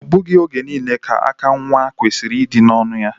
O bughi oge niile ka aka nwa kwesiri idi n'onụ ya.